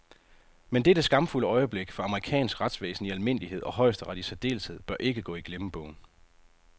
Men dette skamfulde øjeblik for amerikansk retsvæsen i almindelighed og højesteret i særdeleshed bør ikke gå i glemmebogen.